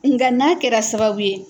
Nga n'a kɛra sababu ye